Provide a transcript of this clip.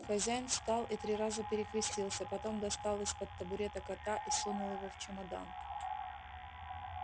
хозяин встал и три раза перекрестился потом достал из-под табурета кота и сунул его в чемодан